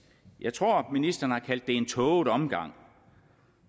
jeg tror ministeren har kaldt det en tåget omgang